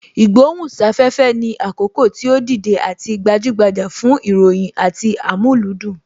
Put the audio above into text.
Ìgbohùn sáfẹ́fẹ́ ni àkókò tí ó dìde àti gbajúgbajà fún ìròyìn àti amúlùúdùn